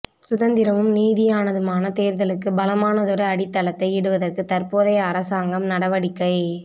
சுதந்திரமும் நீதியானதுமான தேர்தலுக்கு பலமானதொரு அடித்தளத்தை இடுவதற்கு தற்போதைய அரசாங்கம் நடவடிக்கை